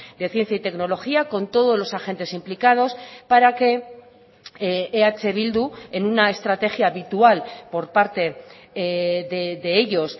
de ciencia y tecnología con todos los agentes implicados para que eh bildu en una estrategia habitual por parte de ellos